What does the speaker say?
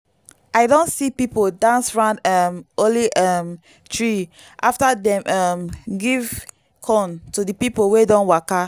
i don see people dance round um holy um tree after dem um give corn to the people wey don waka.